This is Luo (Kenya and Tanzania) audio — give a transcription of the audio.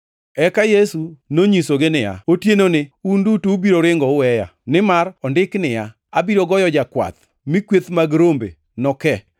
Eka Yesu nonyisogi niya, “Otienoni un duto ubiro ringo uweya, nimar ondiki niya, “ ‘Abiro goyo jakwath, mi kweth mag rombe noke.’ + 26:31 \+xt Zek 13:7\+xt*